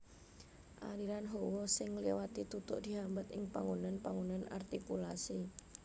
Aliran hawa sing ngliwati tutuk dihambat ing panggonan panggonan artikulasi